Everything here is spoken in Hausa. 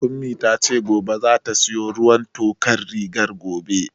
Ummi tace gobe zata siyo ruwan tokar rigar gobe